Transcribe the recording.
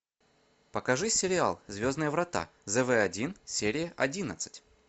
покажи сериал звездные врата зв один серия одиннадцать